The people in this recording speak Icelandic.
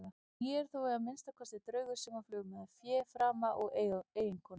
En ég er þó að minnsta kosti draugur sem á flugmiða, fé og frama, eiginkonu.